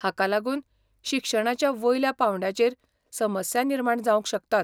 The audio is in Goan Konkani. हाका लागून शिक्षणाच्या वयल्या पांवड्याचेर समस्या निर्माण जावंक शकतात.